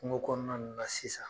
Kungo kɔɔna ninnu na sisan